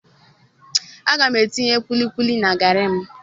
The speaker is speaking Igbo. Aga m etinye kulikuli na garri m